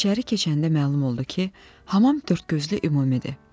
İçəri keçəndə məlum oldu ki, hamam dördgözlü ümumidir.